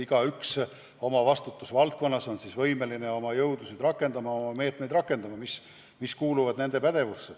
Igaüks peab olema oma vastutusvaldkonnas võimeline oma jõudusid rakendama, käivitama meetmeid, mis kuuluvad nende pädevusse.